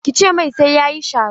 Ki ce mai sai ya yi sharo!